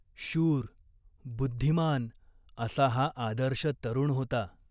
शूर, बुद्धिमान असा हा आदर्श तरुण होता.